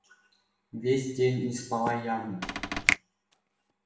весь день не спала явно